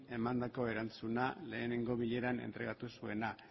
emandako erantzuna lehenengo bileran entregatu zuena